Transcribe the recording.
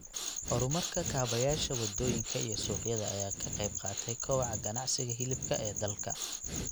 Horumarka kaabayaasha waddooyinka iyo suuqyada ayaa ka qayb qaatay kobaca ganacsiga hilibka ee dalka.